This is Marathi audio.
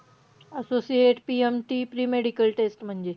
Associate PMT premedical test म्हणजे.